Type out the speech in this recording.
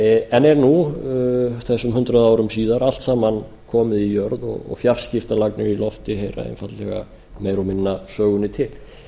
en er nú þessum hundrað árum síðar allt saman komið í jörð og fjarskiptalagnir í lofti heyra einfaldlega meira og minna sögunni til